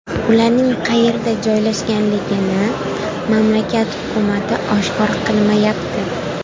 Ularning qayerda joylashganligini mamlakat hukumati oshkor qilmayapti.